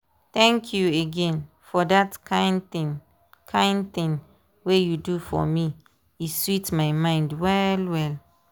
thank you again for that kind thing kind thing wey you do for me e sweet my mind well well.